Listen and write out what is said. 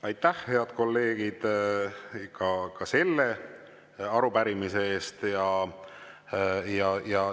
Aitäh, head kolleegid, ka selle arupärimise eest!